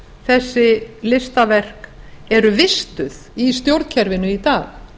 þessi listaverk eru vistuð í stjórnkerfinu í dag